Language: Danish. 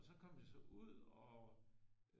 Og så kom det så ud og